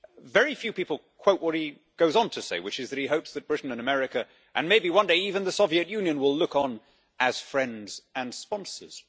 Very few people quote what he goes on to say, which is that he hopes that Britain and America, and maybe one day even the Soviet Union, will look on as friends and sponsors.